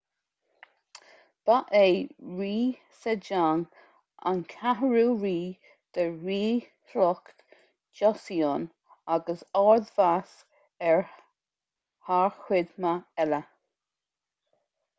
ba é rí sejong an cheathrú rí de ríshliocht joseon agus ard-mheas air thar cuid mhaith eile